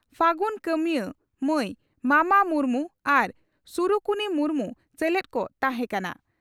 ᱯᱷᱟᱹᱜᱩᱱ ᱠᱟᱹᱢᱤᱭᱟᱹ ᱢᱟᱹᱭ ᱢᱟᱢᱟ ᱢᱩᱨᱢᱩ ᱟᱨ ᱥᱩᱨᱩᱠᱩᱱᱤ ᱢᱩᱨᱢᱩ ᱥᱮᱞᱮᱫ ᱠᱚ ᱛᱟᱦᱮᱸ ᱠᱟᱱᱟ ᱾